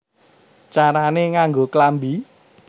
Carané Nganggo Klambi